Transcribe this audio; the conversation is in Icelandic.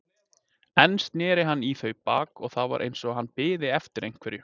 Enn sneri hann í þau baki og það var eins og hann biði eftir einhverju.